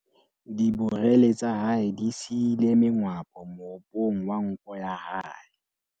diborele tsa hae di siile mengwapo moopong wa nko ya hae